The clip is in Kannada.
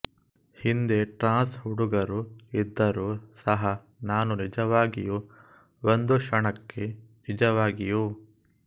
ಹಿಂದೆ ಟ್ರಾನ್ಸ್ ಹುಡುಗರೂ ಇದ್ದರು ಸಹ ನಾನು ನಿಜವಾಗಿಯೂ ಒಂದು ಕ್ಷಣಕ್ಕೆ ನಿಜವಾಗಿಯೂ